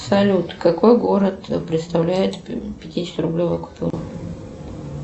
салют какой город представляет пятидесятирублевую купюру